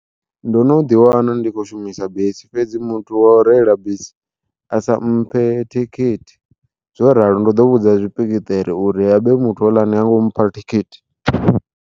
Ndo no ḓi wana ndi khou shumisa bisi fhedzi muthu wa u reila bisi a sa mphe thikhithi, zwo ralo ndo ḓo vhudza tshipikiṱere uri habe muthu houḽa ha ngo mpha thikhithi.